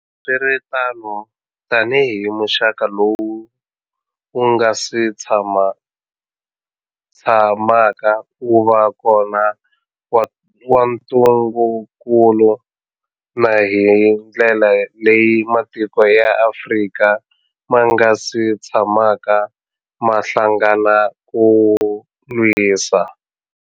Loko swi ri tano, tanihi muxaka lowu wu nga si tshamaka wu va kona wa ntungukulu, na hi ndlela leyi matiko ya Afrika ma nga si tshamaka ma hlangana ku wu lwisa.